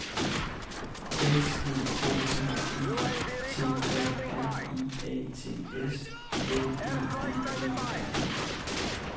S E K R E T A R I A T S L E D E R